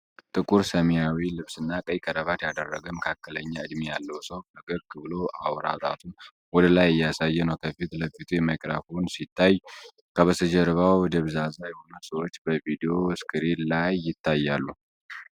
ጥቁር ሰማያዊ ልብስና ቀይ ክራቫት ያደረገ መካከለኛ እድሜ ያለው ሰው ፈገግ ብሎ አውራ ጣቱን ወደ ላይ እያሳየ ነው። ከፊት ለፊቱ ማይክሮፎን ሲታይ ከበስተጀርባው ደብዛዛ የሆኑ ሰዎች በቪዲዮ ስክሪን ላይ ይታያሉ።